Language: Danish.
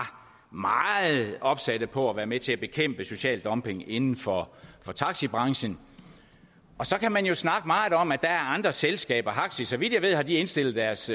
meget opsatte på at være med til at bekæmpe social dumping inden for for taxibranchen og så kan man jo snakke meget om at der er andre selskaber haxi så vidt jeg ved har de indstillet deres